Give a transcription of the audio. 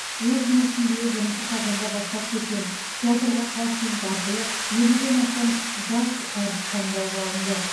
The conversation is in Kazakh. өз жұмысын биыл бірінші қазанда бастап кеткен театрға кастинг арқылы елуден астам жас әртіс таңдалып алынды